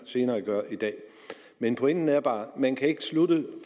senere i dag men pointen er bare at man ikke kan slutte